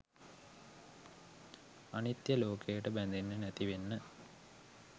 අනිත්‍ය ලෝකයට බැඳෙන්නෙ නැති වෙන්න